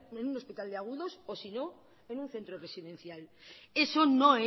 en un hospital de agudos o si no en un centro residencial eso no